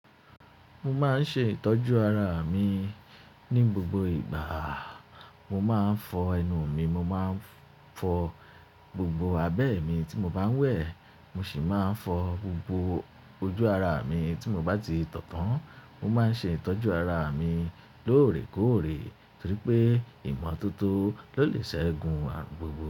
Mo máa ń ṣe ìtọ́jú ara mi ní gbogbo ìgbà, mo máa ń fọ ẹnu mi, mo máa ń fọ gbogbo abẹ́ mi tí mo bá ń wẹ̀, mo sì máa ń fọ gbogbo ojú ara mi tí mo bá ti tọ̀ tán. Mo máa ń ṣe ìtọ́jú ara mi lóòrèkóòrè torí pé ìmọ̀ tó tó ló lè ṣẹ́gun arun gbogbo.